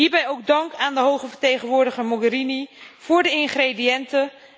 Hierbij ook dank aan de Hoge Vertegenwoordiger Mogherini voor de ingrediënten.